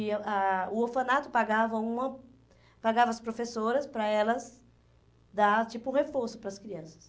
ia ah O orfanato pagava uma pagava as professoras para elas dar, tipo, um reforço para as crianças.